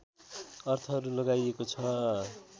अर्थहरू लगाइएको छ